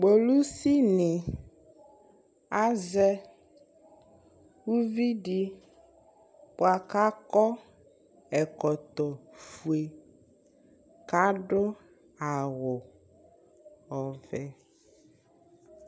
kpolusi ni azɛ uvi di boa ko akɔ ɛkɔtɔ fue ko ado awu ɔvɛ